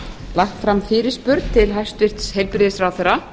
lagt fram fyrirspurn til hæstvirts heilbrigðisráðherra